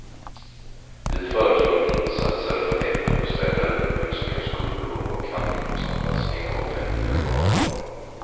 Vi föreslår insatser för äldrebostäder, upprustning av skolor och handikappanpassning av offentliga lokaler.